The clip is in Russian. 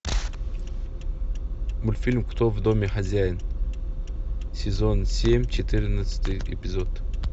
мультфильм кто в доме хозяин сезон семь четырнадцатый эпизод